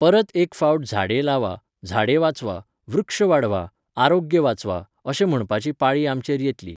परत एक फावट झाडे लावा, झाडे वाचवा, वृक्ष वाढवा, आरोग्य वाचवा, अशें म्हणपाची पाळी आमचेर येतली